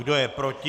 Kdo je proti?